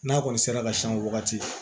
N'a kɔni sera ka siyɛn o wagati